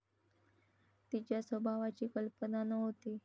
तिच्या स्वभावाची कल्पना नव्हती.